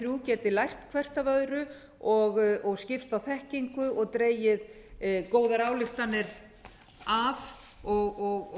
þrjú geti lært hvert af öðru og skipst á þekkingu og dregið góðar ályktanir af og